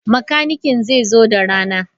Makanikin zai zo da rana.